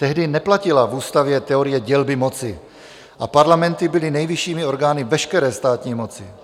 Tehdy neplatila v ústavě teorie dělby moci a parlamenty byly nejvyššími orgány veškeré státní moci.